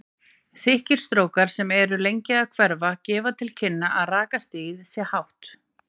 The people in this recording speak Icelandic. Þykkir strókar sem eru lengi að hverfa gefa til kynna að rakastigið sé hátt.